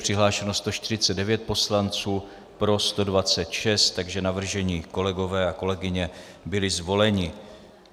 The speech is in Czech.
Přihlášeno 149 poslanců, pro 126, takže navržení kolegové a kolegyně byli zvoleni.